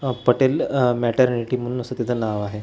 आह पटेल आह मॅटरनिटी म्हणून असं तिथं नाव आहे.